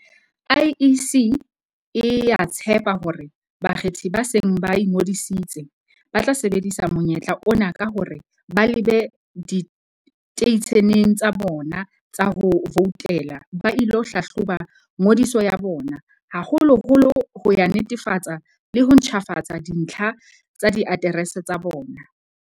IEC e a tshepa hore bakgethi ba seng ba ingodisitse, ba tla sebedisa monyetla ona ka hore ba lebe diteisheneng tsa bona tsa ho voutela ba ilo hlahloba ngodiso ya bona, haholoholo ho ya netefatsa le ho ntjhafatsa dintlha tsa di aterese tsa bona.